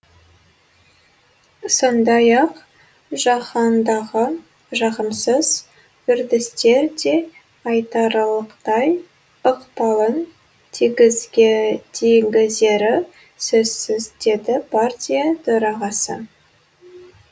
сондай ақ жаһандағы жағымсыз үрдістер де айтарлықтай ықпалын тигізері сөзсіз деді партия төрағасы